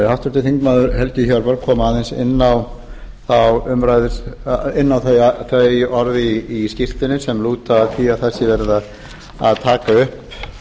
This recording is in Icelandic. háttvirtur þingmaður helgi hjörvar kom aðeins inn á þau orð í skýrslunni sem lúta að því að það sé verið að taka upp